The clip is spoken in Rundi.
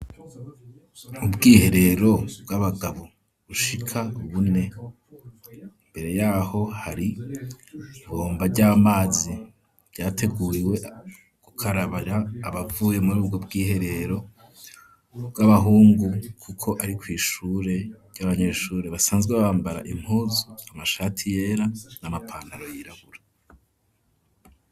Ubwiherero bw'abagabo bushika bune, imbere y'aho hari ibomba ry'amazi, ryateguriwe gukarabira abavuye muri ubwo bwiherero bw'abahungu, kuko ari kw'ishure ry'abanyeshure basanzwe bambara impuzu, amashati yera n'amapantaro yirabura.